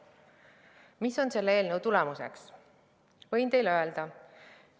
Mis on selle eelnõu seaduseks saamise tulemus?